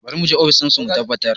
Bari mu je ofishin su mu tabbatar